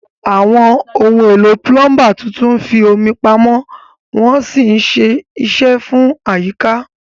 Àwọn ohun èlò púlọ́ńbà tuntun ń fi omi pamọ́ wọ́n sì ṣe é ṣe fún àyíká.